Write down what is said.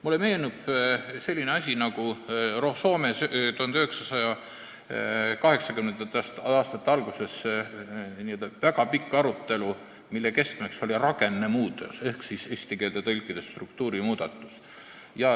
Mulle meenub, et Soomes oli 1980. aastate alguses väga pikk arutelu, mille keskmes oli rakennemuutos ehk eesti keeles struktuurimuudatus.